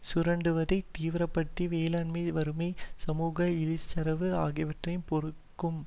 சுரண்டுவதை தீவிர படுத்தி வேலையின்மை வறுமை சமூக இழிசரவு ஆகியவற்றையும் பெருக்கும்